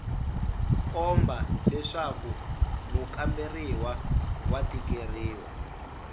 komba leswaku mukamberiwa wa tikeriwa